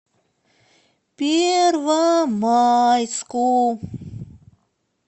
первомайску